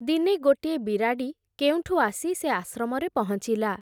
ଦିନେ ଗୋଟିଏ ବିରାଡ଼ି, କେଉଁଠୁ ଆସି ସେ ଆଶ୍ରମରେ ପହଞ୍ଚିଲା ।